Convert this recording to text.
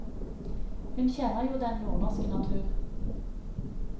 Hun kjenner jo den nordnorske natur.